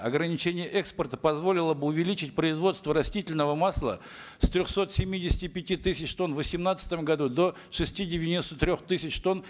ограничение экспорта позволило бы увеличить производство растительного масла с трехсот семидесяти пяти тысяч тонн в восемнадцатом году до шести девяносто трех тысяч тонн